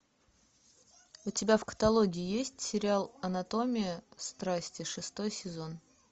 у тебя в каталоге есть сериал анатомия страсти шестой сезон